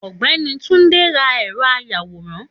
Ògbẹ́ni Túndé ra ẹ̀rọ àyawòrán